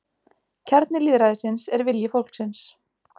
Kjarni lýðræðisins er vilji fólksins